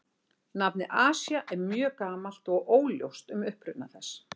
Nafnið Asía er mjög gamalt og óljóst um uppruna þess.